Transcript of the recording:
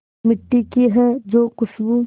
मिट्टी की है जो खुशबू